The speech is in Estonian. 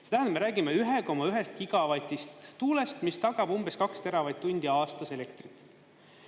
See tähendab, et me räägime 1,1 gigavatist tuulest, mis tagab umbes 2 teravatt-tundi aastas elektrit.